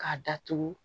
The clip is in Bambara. K'a datugu